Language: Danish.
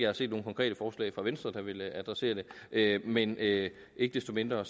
har set nogen konkrete forslag fra venstre der vil adressere det men ikke ikke desto mindre